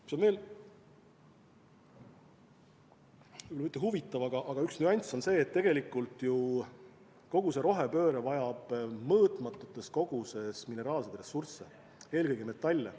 Mis on veel, mitte huvitav, aga üks nüanss on see, et tegelikult ju kogu rohepööre vajab mõõtmatus koguses mineraalseid ressursse, eelkõige metalle.